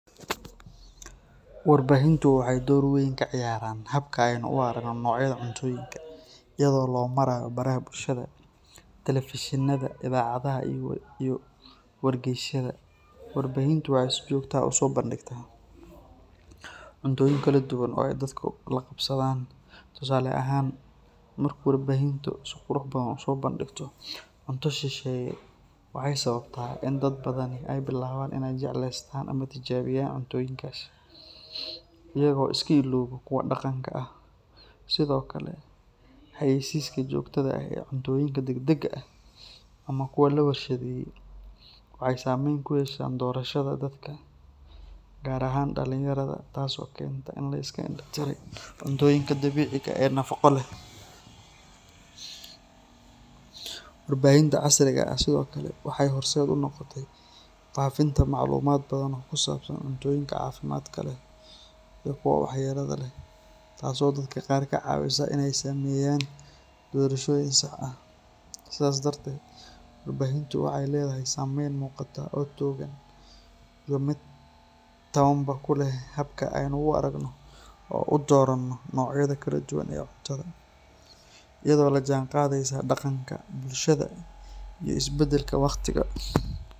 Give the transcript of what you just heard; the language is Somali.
Warbaahintu waxay door weyn ka ciyaartaa habka aynu u aragno noocyada cuntooyinka. Iyadoo loo marayo baraha bulshada, telefishinada, idaacadaha iyo wargeysyada, warbaahintu waxay si joogto ah u soo bandhigtaa cuntooyin kala duwan oo ay dadku la qabsadaan. Tusaale ahaan, marka warbaahintu si qurux badan u soo bandhigto cunto shisheeye, waxay sababtaa in dad badani ay bilaabaan inay jecleystaan ama tijaabiyaan cuntooyinkaasi, iyagoo iska illooba kuwa dhaqanka ah. Sidoo kale, xayeysiiska joogtada ah ee cuntooyinka degdega ah ama kuwa la warshadeeyey waxay saameyn ku yeeshaan doorashada dadka, gaar ahaan dhalinyarada, taasoo keenta in la iska indhatiray cuntooyinka dabiiciga ah ee nafaqo leh. Warbaahinta casriga ah sidoo kale waxay horseed u noqotay faafinta macluumaad badan oo ku saabsan cuntooyinka caafimaadka leh iyo kuwa waxyeelada leh, taasoo dadka qaar ka caawisa inay sameeyaan doorashooyin sax ah. Sidaas darteed, warbaahintu waxay leedahay saameyn muuqata oo togan iyo mid tabanba ku leh habka aynu u aragno oo u doorano noocyada kala duwan ee cuntada, iyadoo la jaanqaadaysa dhaqanka, bulshada iyo isbeddelka waqtiga.